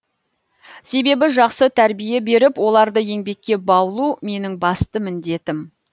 себебі жақсы тәрбие беріп оларды еңбекке баулу менің басты міндетім